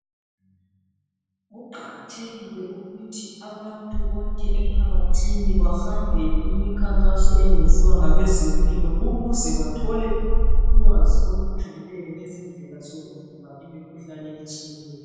Kuqakathekile ukuthi abantu bonke emphakathini bahambele imikhankaso eyenziwa ngabezempilo ukuze bathole ulwazi olujulileyo ngezindlela zokuvimba imikhuhlane etshiyeneyo.